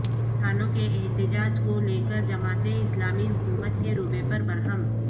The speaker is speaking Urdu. کسانوں کے احتجاج کو لے کر جماعت اسلامی حکومت کے رویے پر برہم